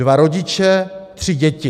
Dva rodiče, tři děti.